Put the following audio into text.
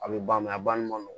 A bɛ ban a banni ma nɔgɔn